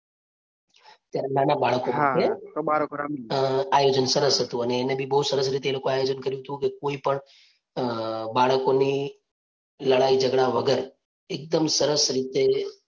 ત્યારે નાના બાળકો માટે અ આયોજન સરસ હતું અને એને બી બહુ સરસ રીતે એ લોકોએ આયોજન કર્યું હતું કે, કોઈ પણ અ બાળકોની લડાઈ ઝગડા વગર એકદમ સરસ રીતે